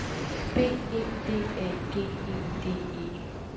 B E D A G E D E